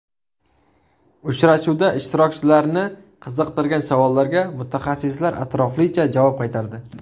Uchrashuvda ishtirokchilarni qiziqtirgan savollarga mutaxassislar atroflicha javob qaytardi.